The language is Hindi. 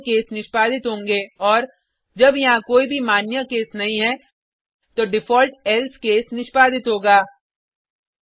केवल मान्य केस निष्पादित होगें औऱ जब यहाँ कोई भी मान्य केस नहीं है तो डिफॉल्ट एल्से केस निष्पादित होगा